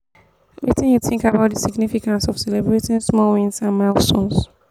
wetin you think about di significance of celebrating small wins and milestones?